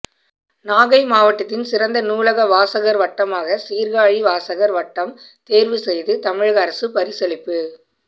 நாகை மாவட்டத்தின் சிறந்த நூலக வாசகா் வட்டமாக சீா்காழி வாசகா் வட்டம் தோ்வு செய்து தமிழக அரசு பரிசளிப்பு